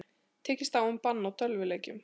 Tekist á um bann á tölvuleikjum